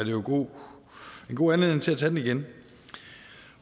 jo en god anledning til at tage den igen